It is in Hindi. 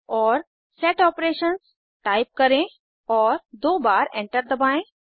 औरSet Operations टाइप करें और दो बार एंटर दबाएं